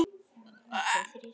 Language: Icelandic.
Þó ekki allt.